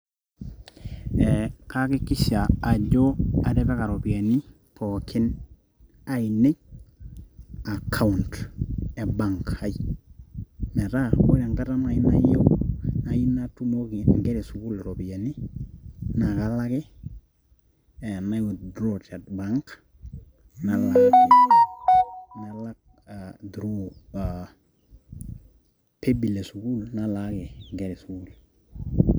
ee kaakikisha ajo atipika iropiyiani pookin ainei account e bank ai metaa ore enkata naaji nayieu natumoki inkera e sukuul iropiyiani naa kalo ake nai withdraw te bank nalaaki nalak through paybill e sukuul nalaaki inkera e sukuul.